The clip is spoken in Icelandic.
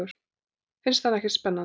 Finnst hann ekkert spennandi.